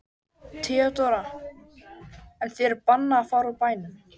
THEODÓRA: En þér er bannað að fara úr bænum.